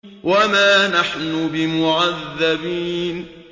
وَمَا نَحْنُ بِمُعَذَّبِينَ